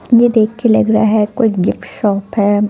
वो देख के लग रहा है कोई गिफ्ट शॉप है।